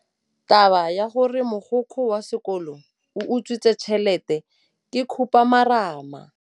Taba ya gore mogokgo wa sekolo o utswitse tšhelete ke khupamarama.